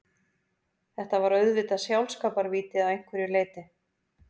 Þetta var auðvitað sjálfskaparvíti að einhverju leyti.